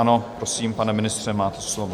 Ano, prosím, pane ministře, máte slovo.